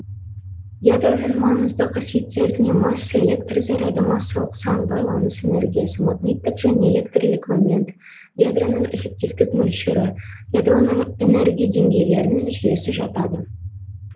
ядроның маңызды қасиеттеріне масса электр заряды массалық сан байланыс энергиясы магниттік және электрлік момент ядроның эффективтік мөлшері ядроның энергия деңгейлерінің жүйесі жатады